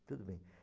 Tudo bem.